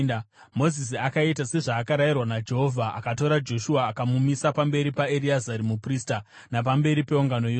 Mozisi akaita sezvaakarayirwa naJehovha. Akatora Joshua akamumisa pamberi paEreazari muprista napamberi peungano yose.